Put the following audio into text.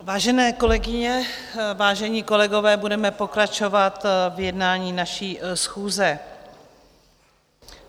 Vážené kolegyně, vážení kolegové, budeme pokračovat v jednání naší schůze.